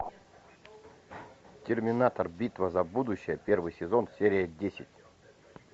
терминатор битва за будущее первый сезон серия десять